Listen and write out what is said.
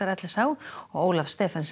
og Ólaf Stephensen